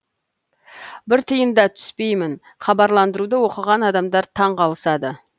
бір тиын да түспеймін хабарландыруды оқыған адамдар таң қалысады